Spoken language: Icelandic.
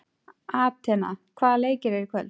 Atena, hvaða leikir eru í kvöld?